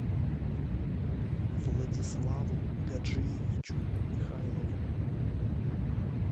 владиславу гаджиевичу михайлову